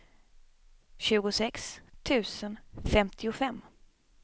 tjugosex tusen femtiofem